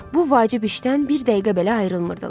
Bu vacib işdən bir dəqiqə belə ayrılmırdılar.